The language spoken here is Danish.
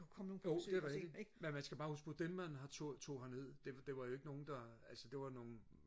jo det er rigtigt men man skal bare huske på dem man tog tog herned det det var jo ikke nogen der altså det var jo nogen